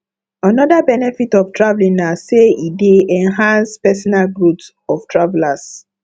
another benefit of traveling na say e dey enhance personal growth of travelers